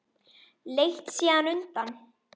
Leit síðan undan.